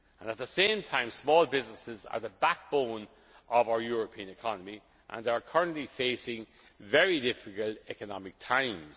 I repeat. At the same time, small businesses are the backbone of our European economy, and they are currently facing very difficult economic